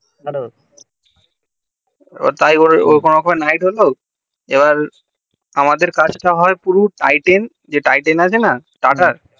তাই করে ওরখুম এই নিঘ্ত হলো এইবার আমাদের কাজ তা হয় পুরো টাইটান আছে না টাটার